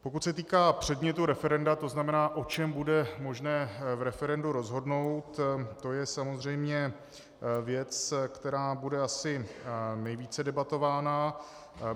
Pokud se týká předmětu referenda, to znamená, o čem bude možné v referendu rozhodnout, to je samozřejmě věc, která bude asi nejvíce debatována.